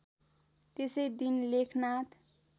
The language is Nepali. त्यसै दिन लेखनाथ